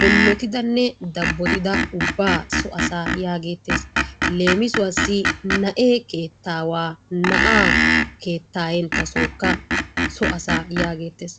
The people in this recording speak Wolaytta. bollotidanne dabbotida asaa ubbaa so asaa yaageettes. Leemisuwassi na'ee keettaawaa na'aa keettaayenttasookka so asaa yaageettes.